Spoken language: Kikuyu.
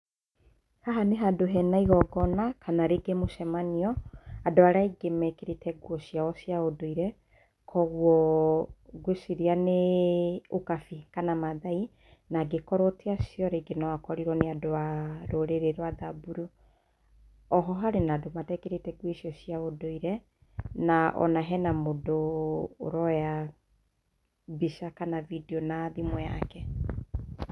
Haha nĩ handũ hena igongona kana rĩngĩ mũcemanioo, andũ arĩa aingĩ mekĩrĩte nguo ciao cia ũndũire koũgũo ngũeciria nĩ ũkabi kana mathaai na angĩkorũo tiacio rĩnge nomakorirwo rũrĩrĩ rwa thamburu. Oho harĩ na andũ matekĩrĩte ngũo icio cia ũndũire na ona hena mũndũ ũroya mbica kana vidio na thimũ yake